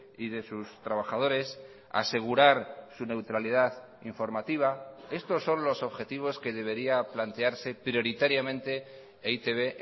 y de sus trabajadores asegurar su neutralidad informativa estos son los objetivos que debería plantearse prioritariamente e i te be